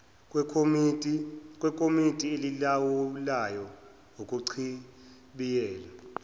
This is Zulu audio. kwekomidi elilawulayo ukuchibiyela